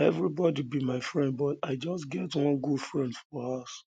everybody be my friend but i just get one very good friend for house